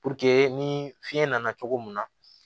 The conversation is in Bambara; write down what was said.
ni fiɲɛ nana cogo mun na